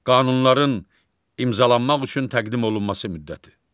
Qanunların imzalanmaq üçün təqdim olunması müddəti.